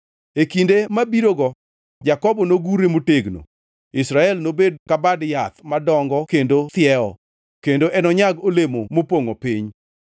E kinde mabirogo Jakobo nogurre motegno, Israel nobed ka bad yath madongo kendo thiewo, kendo enonyag olemo mopongʼo piny.